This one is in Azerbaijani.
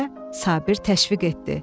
deyə Sabir təşviq etdi.